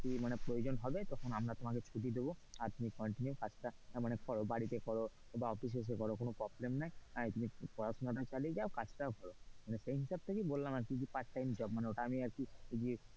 ছুটির মানে প্রয়োজন হবে তখন আমরা তোমাকে ছুটি দেবো আর তুমি continue কাজটা মানে করো বাড়িতে করা বা অফিস এসে কর কোন problem নেই। একদিকে পড়াশোনাটাও চালিয়ে যাও আর কাজ টাও করো মানে সেই হিসাব থেকেই বললাম যে part time job আর কি।